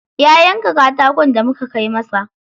Ya yanka katakon da muka kai masa.